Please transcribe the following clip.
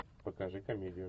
покажи комедию